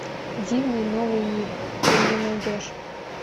дивный новый мир ты мне найдешь